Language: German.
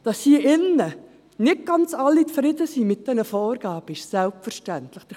Dass hier im Grossen Rat nicht ganz alle mit diesen Vorgaben zufrieden sind, ist selbstverständlich.